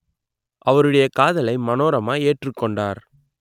அவருடைய காதலை மனோரமா ஏற்றுக்கொண்டார்